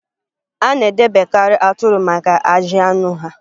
A na-edebekarị atụrụ maka ajị anụ ha